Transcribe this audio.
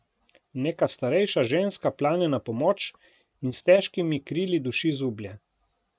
Neka starejša ženska plane na pomoč in s težkimi krili duši zublje.